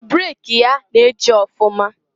Breki ya na-eji ọfụma.